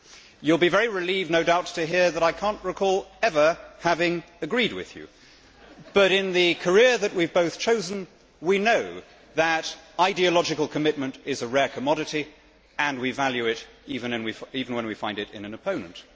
You will be very relieved, no doubt, to hear that I cannot recall ever having agreed with you. But in the career that we have both chosen, we know that ideological commitment is a rare commodity and we value it even when we find it in an opponent.